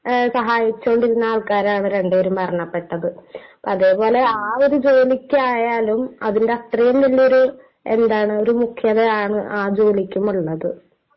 സഹായിച്ചോണ്ടിരുന്ന ആൾക്കാരാണ് രണ്ടുപേരും മരണപ്പെട്ടത്. അപ്പൊ അതേപോലെ ആ ഒരു ജോലിക്ക് ആയാലും അതിന്റെ അത്രേ വല്യൊരു മുഖ്യതയാണ് ആ ജോലിക്കും ഉള്ളത്.